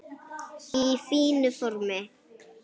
Í fínu formi.